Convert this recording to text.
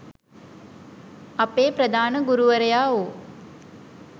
අපේ ප්‍රධාන ගුරුවරයා වූ